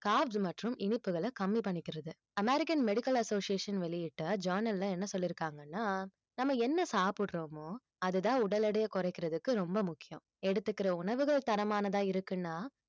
carbs மற்றும் இனிப்புகளை கம்மி பண்ணிக்கிறது american medical association வெளியிட்ட journal ல என்ன சொல்லியிருக்காங்கன்னா நம்ம என்ன சாப்பிடுறோமோ அதுதான் உடல் எடையை குறைக்கிறதுக்கு ரொம்ப முக்கியம் எடுத்துக்கிற உணவுகள் தரமானதா இருக்குன்னா